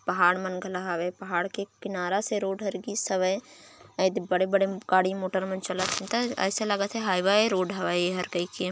पहाड़ मन पहाड़ के किनारा से रोड हर गिस हबे एदे बड़े-बड़े गाडी मोटर मन चलत हबे में ऐसे लगथे हाइवाई रोड हरे है कर के--